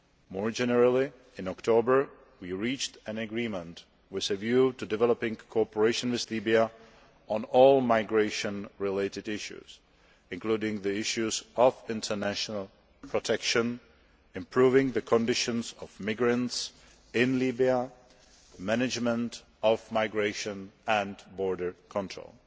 More generally, in October, we reached an agreement with a view to developing cooperation with Libya on all migration related issues, including the issues of international protection, improving the conditions of migrants in Libya, management of migration and border control.